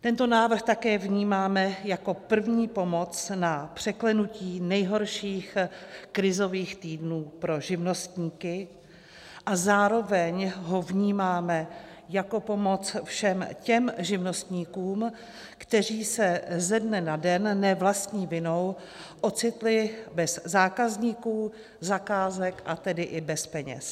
Tento návrh také vnímáme jako první pomoc na překlenutí nejhorších krizových týdnů pro živnostníky a zároveň ho vnímáme jako pomoc všem těm živnostníkům, kteří se ze dne na den ne vlastní vinou ocitli bez zákazníků, zakázek, a tedy i bez peněz.